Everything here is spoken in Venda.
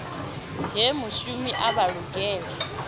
he mushumi avha o lugela